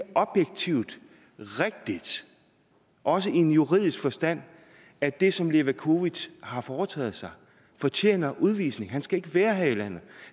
objektivt rigtigt også i en juridisk forstand at det som levakovic har foretaget sig fortjener udvisning han skal ikke være her i landet